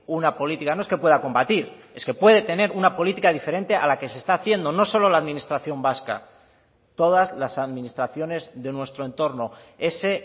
una política no es que pueda combatir es que puede tener una política diferente a la que se está haciendo no solo la administración vasca todas las administraciones de nuestro entorno ese